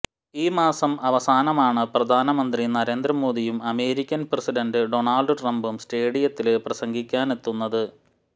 ഈ മാസം അവസാനമാണ് പ്രധാനമന്ത്രി നരേന്ദ്ര മോദിയും അമേരിക്കന് പ്രസിഡന്റ് ഡൊണാള്ഡ് ട്രംപും സ്റ്റേഡിയത്തില് പ്രസംഗിക്കാനെത്തുന്നത്